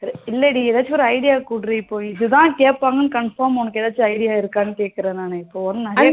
இல்லை டி ஏதாச்சும் ஒரு idea கூடு டி இப்போ இதுதான் கேப்பாங்கணனூ confirm உனக்கு ஏதாச்சும் idea இருக்கானூ கேக்குறேன் நானு